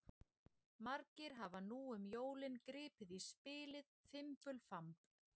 Margir hafa nú um jólin gripið í spilið Fimbulfamb.